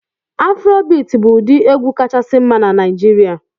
Afrobit bụ ụdị egwu kachasị mma na Naijiria